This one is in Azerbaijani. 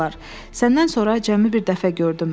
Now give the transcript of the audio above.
Səndən sonra cəmi bir dəfə gördüm.